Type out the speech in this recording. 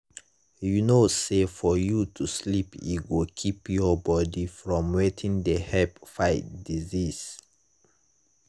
you know say for you to sleep e go keep your body from wetin dey help fight diseases.